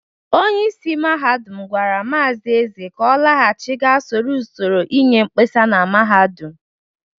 Onyeisi mahadum gwara Maazi Eze ka ọ laghachi ga soro usoro inye mkpesa na mahadum!